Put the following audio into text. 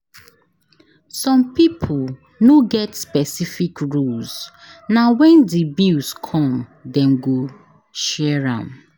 Some pipo no get specific rules na when di bills come dem go share am